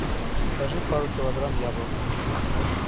закажи пару килограмм яблок